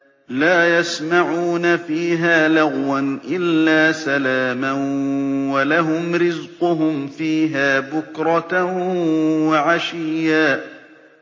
لَّا يَسْمَعُونَ فِيهَا لَغْوًا إِلَّا سَلَامًا ۖ وَلَهُمْ رِزْقُهُمْ فِيهَا بُكْرَةً وَعَشِيًّا